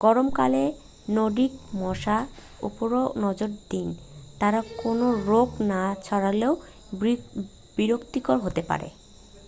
গরম কালে নর্ডিক মশার ওপরও নজর দিন তারা কোনও রোগ না ছড়ালেও বিরক্তিকর হতে পারে